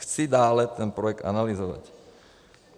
Chci dále ten projekt analyzovat.